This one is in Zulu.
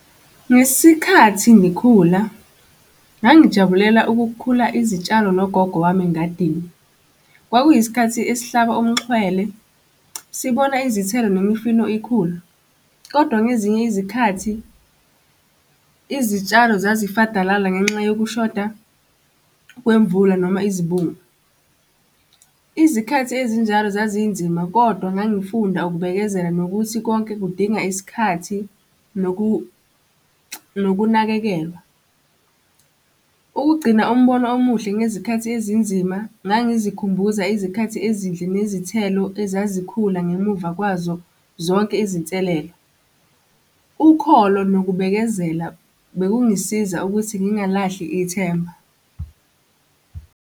Ngesikhathi ngikhula, ngangijabulela ukukhula izitshalo nogogo wami engadini. Kwakuyisikhathi esihlaba umxhwele, sibona izithelo nemifino ikhula, kodwa ngezinye izikhathi izitshalo zazifadalala ngenxa yokushoda kwemvula noma izibungu. Izikhathi ezinjalo zazinzima, kodwa ngangifunda ukubekezela nokuthi konke kudinga isikhathi nokunakekelwa. Ukugcina umbono omuhle ngezikhathi ezinzima, ngangizikhumbuza izikhathi ezinhle nezithelo ezazikhula ngemuva kwazo zonke izinselelo. Ukholo nokubekezela bekungisiza ukuthi ngingalahli ithemba.